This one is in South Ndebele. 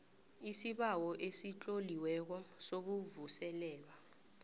isibawo esitloliweko sokuvuselelwa